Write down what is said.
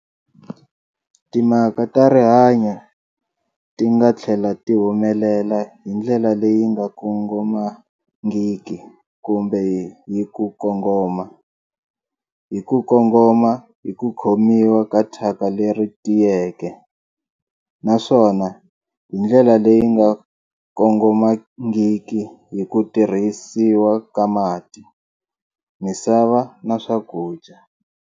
Timhaka ta rihanyo ti nga tlhela ti humelela hi ndlela leyi nga kongomangiki kumbe hi ku kongoma-hi ku kongoma hi ku khomiwa ka thyaka leri tiyeke, naswona hi ndlela leyi nga kongomangiki hi ku tirhisiwa ka mati, misava na swakudya.